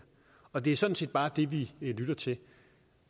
og det er sådan set bare det vi lytter til